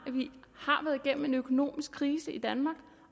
været igennem en økonomisk krise i danmark